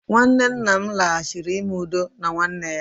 nwanne nna m laghachiri ime udo na nwanne ya